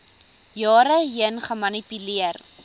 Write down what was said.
jare heen gemanipuleer